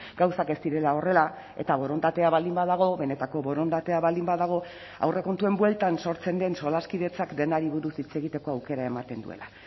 gauzak ez direla horrela eta borondatea baldin badago benetako borondatea baldin badago aurrekontuen bueltan sortzen den solaskidetzak denari buruz hitz egiteko aukera ematen duela